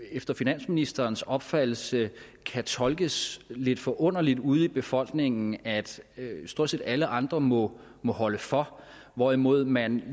efter finansministerens opfattelse kan tolkes lidt forunderligt ude i befolkningen at stort set alle andre må må holde for hvorimod man